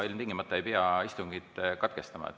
Ilmtingimata ei pea istungit katkestama.